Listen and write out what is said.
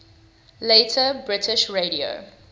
later british radio